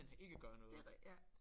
Det er ja